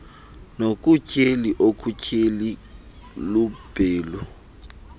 nokutyheli okutyheli lubhelu